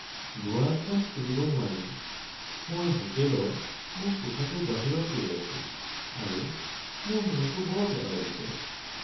দুৱাৰখন খুলিব নোৱাৰি মই হোটেলৰ মোৰ কোঠাটোৰ বাহিৰত ৰৈ আছোঁ আৰু মোৰ মনটো বৰ বেয়া লাগিছে।